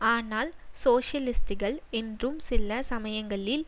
ஆனால் சோசியலிஸ்டுகள் என்றும் சில சமயங்களில்